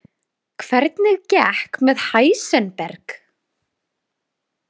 Hvernig gekk með Heisenberg?